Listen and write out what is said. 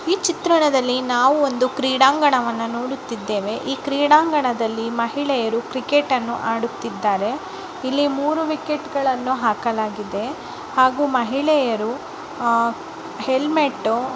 ಈ ಚಿತ್ರಣದಲ್ಲಿ ನಾವು ಒಂದು ಕ್ರೀಡಾಂಗಣವನ್ನು ನೋಡುತ್ತಿದ್ದೇವೆ. ಈ ಕ್ರೀಡಾಂಗಣದಲ್ಲಿ ಮಹಿಳೆಯರು ಕ್ರಿಕೆಟ್ ಅನ್ನು ಆಡುತ್ತಿದ್ದಾರೆ. ಇಲ್ಲಿ ಮೂರು ವಿಕೆಟ್ ಗಳನ್ನು ಹಾಕಲಾಗಿದೆ ಹಾಗು ಮಹಿಳೆಯರು ಹಾ ಹೆಲ್ಮೆಟು --